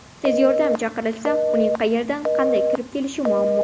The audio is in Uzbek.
Tez yordam chaqirilsa uning qayerdan, qanday kirib kelishi muammo.